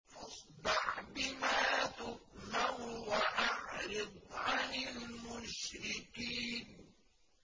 فَاصْدَعْ بِمَا تُؤْمَرُ وَأَعْرِضْ عَنِ الْمُشْرِكِينَ